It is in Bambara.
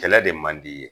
Kɛlɛ de man di i ye